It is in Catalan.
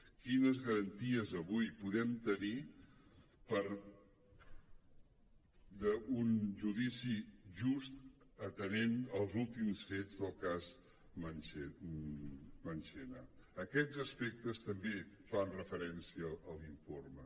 quines garanties avui podem tenir d’un judici just atenent als últims fets del cas marchena d’aquests aspectes també se’n fa referència a l’informe